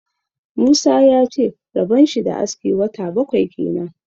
Musa ya ce rabon shi da aski wata bakwai kenan.